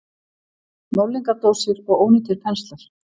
Málningardósir og ónýtir penslar.